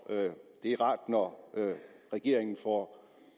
det er rart når regeringen får